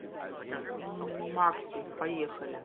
макси поехали